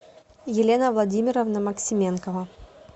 елена владимировна максименкова